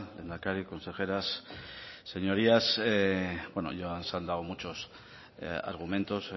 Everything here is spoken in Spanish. lehendakari consejeras señorías bueno ya se han dado muchos argumentos